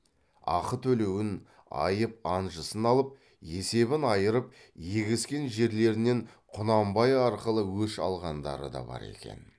ақы төлеуін айып анжысын алып есебін айырып егескен жерлерінен құнанбай арқылы өш алғандары да бар екен